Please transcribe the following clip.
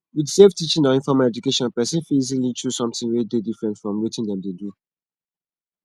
with self teaching or informal education person fit easily choose something wey dey differnt from wetin dem dey do